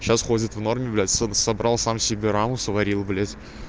сейчас ходит в норме блять с собрал сам себе рамку сварил блять